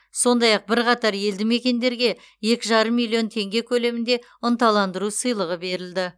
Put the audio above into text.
сондай ақ бірқатар елді мекендерге екі жарым миллион теңге көлемінде ынталандыру сыйлығы берілді